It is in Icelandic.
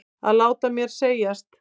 Að láta mér segjast?